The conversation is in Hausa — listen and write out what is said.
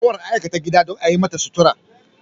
Gawar an aikata gida don a yimata sutura.